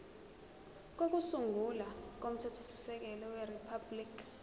kokusungula komthethosisekelo weriphabhuliki